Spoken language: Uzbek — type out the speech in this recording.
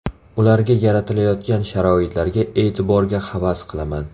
Ularga yaratilayotgan sharoitlarga, e’tiborga havas qilaman.